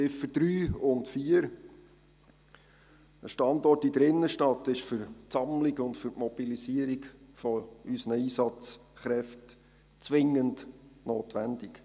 Zu den Ziffern 3 und 4: Ein Standort in der Innenstadt ist für die Sammlung und Mobilisierung unserer Einsatzkräfte zwingend notwendig.